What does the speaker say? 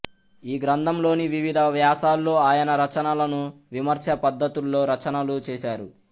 ఈ గ్రంథంలోని వివిధ వ్యాసాల్లో ఆయన రచనలను విమర్శ పద్ధతుల్లో రచనలు చేశారు